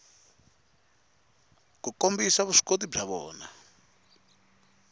ku kombisa vuswikoti bya vona